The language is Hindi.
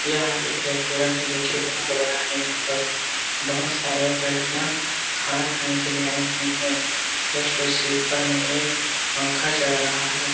यहाँ एक रेस्टोरेंट है जो कि बहुत बड़ा है यहां पर बहुत सारे लड़कियां खाना खाने के लिए आई हुई है जस्ट उसके ऊपर में एक पंखा चल रहा है ।